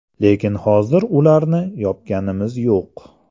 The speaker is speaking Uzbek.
Lekin hozir ularni yopganimiz yo‘q.